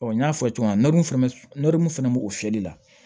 Ɔ n y'a fɔ cogo min na n n'olu fana nɔri mun fana b'o fiyɛli la